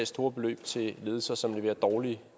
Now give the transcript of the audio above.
store beløb til ledelser som leverer dårlige